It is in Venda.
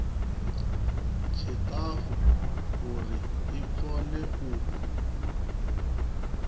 tshiṱafu uri i kone u